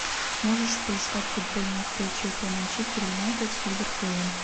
можешь поискать футбольную встречу эпл манчестер юнайтед с ливерпулем